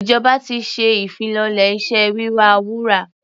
Ìjọba ti ṣe ìfilọ́lẹ̀ iṣẹ́ wíwa wúrà.